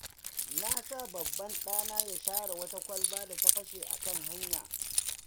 Na sa babban ɗana ya share wata kwalba da ta fashe a kan hanya.